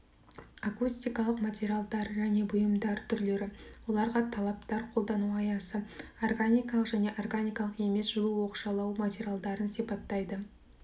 акустикалық материалдар және бұйымдар түрлері оларға талаптар қолдану аясы органикалық және органикалық емес жылу оқшаулау материалдарын сипаттайды